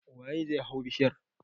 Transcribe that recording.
Waye zai hau bishiyar?